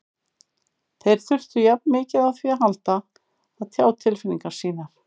Þeir þurfa jafn mikið á því að halda að tjá tilfinningar sínar.